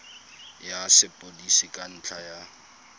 ya sepodisi ka ntlha ya